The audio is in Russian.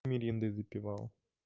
мириндой запивал